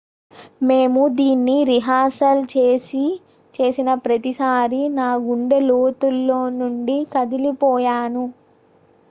"""మేము దీని రిహార్సల్ చేసిన ప్రతిసారీ నా గుండె లోతుల్లో నుండీ కదిలిపోయాను.""